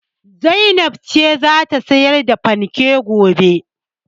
Zainab ce za ta sayar da fanken gobe.